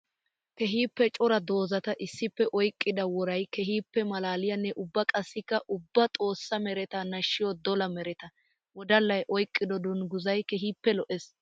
Keehippe cora doozatta issippe oyqqidda woray keehippe malaaliyanne ubba qassikk ubba xoosa meretta nashiya dolla meretta. Wodallay oyqqiddo dungguzzay keehippe lo'ees.